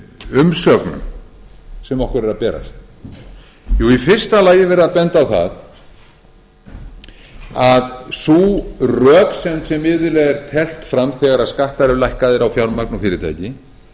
umsögnum sem okkur eru að berast í fyrsta lagi er verið að benda á að sú röksemd sem iðulega er teflt fram þegar skattar eru lækkaðir á fjármagn og fyrirtæki